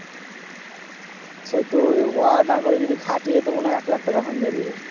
সেটোই না করে যদি খাঁটিয়ে টা মনে হয় এক লাখ হুংযাবে